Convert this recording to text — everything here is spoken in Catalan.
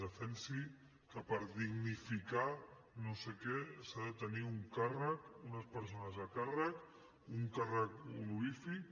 defensi que per dignificar no sé què s’ha de tenir un càrrec unes persones a càrrec un càrrec honorífic